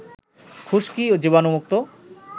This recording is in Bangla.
খুশকি ও জীবাণুমুক্ত